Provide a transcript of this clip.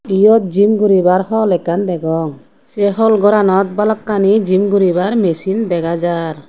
eyot gym goribar hall ekkan degong say hall goranot balokani gym goribar machine dega jar.